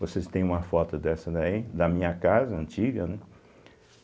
Vocês têm uma foto dessa daí, da minha casa antiga, né?